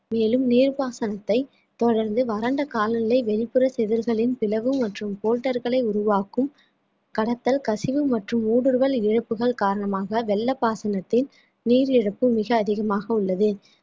மேலும் நீர் பாசனத்தை தொடர்ந்து வறண்ட காலநிலை வெளிப்புற சிதறுகளின் பிளவு மற்றும் கோட்டர்களை உருவாக்கும் கடத்தல் கசிவு மற்றும் ஊடுருவல் இழப்புகள் காரணமாக வெள்ளப்பாசனத்தின் நீர் இழப்பு மிக அதிகமாக உள்ளது